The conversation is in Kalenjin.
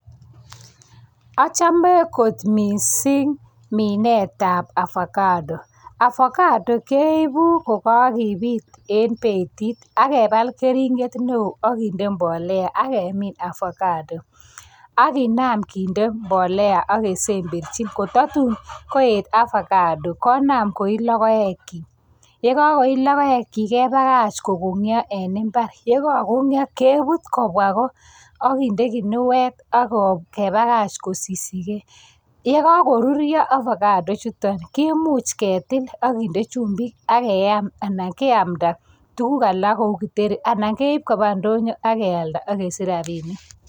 Achame kot mising minetab avacado. Avacado keibu ko kakebit eng betit ak kepal keringet neo ak kinde mbolea ak kemin avacado, ak kinam kinde mbolea ak kesemberchi kotatun koet avacado konam koii logoekchi. Yekakoii logoekchi kepakach kokong'yo, e imbar. Yekakokog'yo kebut kobwa ko. Ak kinde kinuet ak kepakach kosishikei. Yekakoruryo ovacado chutok kemuch ketil ak kinde chumbik, ak keam anan keamta tukuk alak cheu kitheri anan keip koba ndoyo ak kealda ak kesich rabinik.